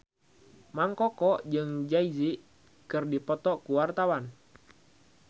Mang Koko jeung Jay Z keur dipoto ku wartawan